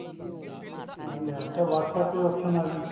ਹਾਂਜੀ ਹਾਂ ਹੁਣ ਤਾਂ WhatsApp ਤੇ ਵੀ option ਆ ਗਈ